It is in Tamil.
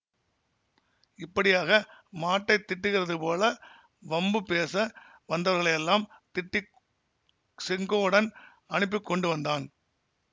இப்படியாக மாட்டைத் திட்டுகிறதுபோல வம்பு பேச வந்தவர்களையெல்லாம் திட்டிச் செங்கோடன் அனுப்பிக் கொண்டு வந்தான்